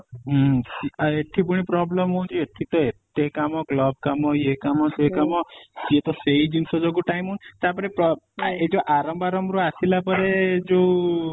ହୁଁ ଆଉ ଏଠି ପୁଣି problem ହଉଚି ଏଠି ତ ଏତେ କାମ club କାମ ଇଏ କାମ, ସିଏ କାମ ସିଏ ତ ସେଇ ଜିନିଷ ଯୋଗୁଁ time ହଉନି ତା ପରେ ପ୍ର ଏଇ ଯୋଉ ଆରମ୍ଭ ଆରମ୍ଭ ରୁ ଆସିଲା ପରେ ଯୋଉ